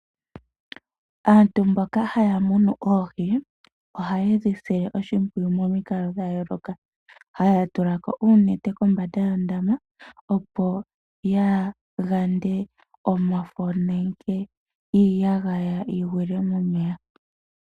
Aantu mboka haya munu oohi ohaye dhi sile momikalo dha yooloka. Haya tula ko uunete kombanda yuundama, opo ya gande omafo nenge iiyagaya yi gwile momeya.